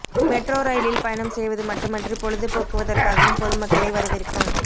metro ரயிலில் பயணம் செய்வது மட்டுமன்றி பொழுது போக்குவதற்காகவும் பொதுமக்களை வரவேற்கும்